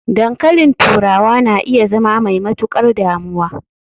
dankalin turawa na iya zama mai matukar damuwa